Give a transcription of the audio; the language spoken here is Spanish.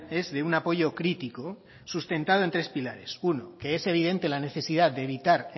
es de un apoyo crítico sustentado en tres pilares uno que es evidente la necesidad de evitar